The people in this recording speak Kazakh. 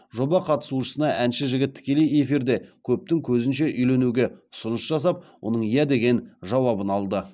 жоба қатысушысына әнші жігіт тікелей эфирде көптің көзінше үйленуге ұсыныс жасап оның иә деген жауабын алды